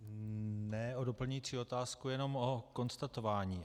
Ne o doplňující otázku, jenom o konstatování.